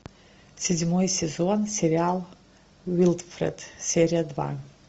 седьмой сезон сериал уилфред серия два